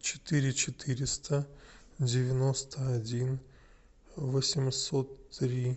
четыре четыреста девяносто один восемьсот три